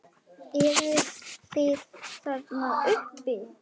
Eruð þið þarna uppi!